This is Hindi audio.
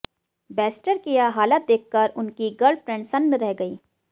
बेस्टर की यह हालत देखकर उनकी गर्लफ्रेंड सन्न रह गई